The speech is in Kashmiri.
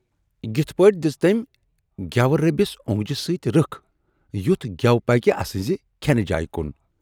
"یِتھٕ پٲٹھۍ دِژ تٔمۍ گٮ۪وٕ رٔبِس اونگجہِ سۭتۍ رٕکھ یُتھ گٮ۪و پکہِ اَسٕنزِ کھٮ۪نہٕ جایہِ کُن۔